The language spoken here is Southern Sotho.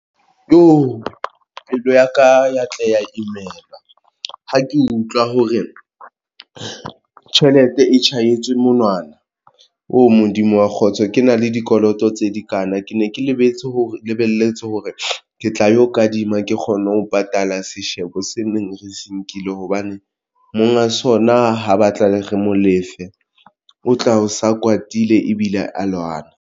Jo! pelo ya ka ya tla ya imelwa ha ke utlwa hore tjhelete e tjhahetswe monwana ooh! Modimo wa kgotso, ke na le dikoloto tse di kanna, ke ne ke le lebetse hore lebelletse hore ke tla yo kadima ke kgone ho patala seshebo se neng re se nkile hobane monga sona ho batla le re mo lefe, o tla o sa kwatile ebile a lwana.